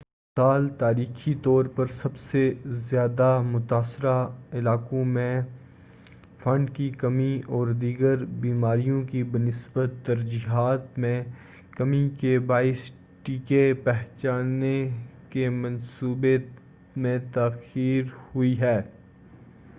اس سال تاریخی طور پر سب سے زیادہ متاثرہ علاقوں میں فنڈ کی کمی اور دیگر بیماریوں کی بنسبت ترجیحات میں کمی کے باعث ٹیکے پہنچانے کے منصوبے میں تاخیر ہوئی ہے